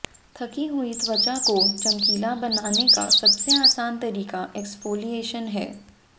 थकी हुई त्वचा को चमकीला बनाने का सबसे आसान तरीका एक्स्फोलियेशन है